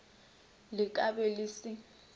le ka be le se